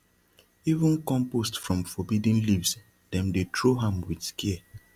even compost from forbidden leaves dem dey throw am with care